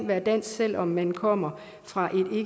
være dansk selv om man kommer fra